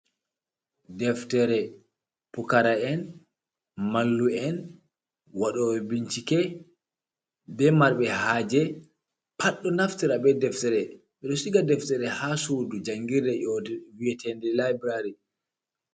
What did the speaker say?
Deftere. Pukara'en, mallu'en, waɗooɓe bincike be marɓe haaje, pat ɗo naftira be deftere. Ɓe ɗo shiga deftere ha sudu jangirde nyootu... viyetende laibrari.